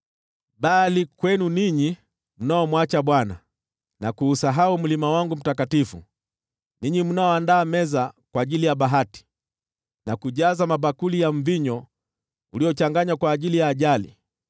“Bali kwenu ninyi mnaomwacha Bwana na kuusahau mlima wangu mtakatifu, ninyi mnaoandaa meza kwa ajili ya Bahati, na kujaza mabakuli ya mvinyo uliochanganywa kwa ajili ya Ajali,